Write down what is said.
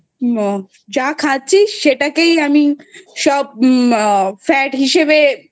যা খাচ্ছিস সেটাকেই আমি সব Fat হিসেবে